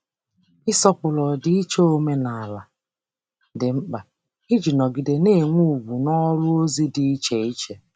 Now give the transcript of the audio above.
Ịsọpụrụ ọdịiche omenala dị mkpa iji nọgide na-enwe ugwu n’ọrụ ozi dị iche iche.